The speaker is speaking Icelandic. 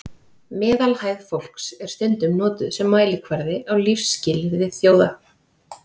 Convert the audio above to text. Meðalhæð fólks er stundum notuð sem mælikvarði á lífsskilyrði þjóða.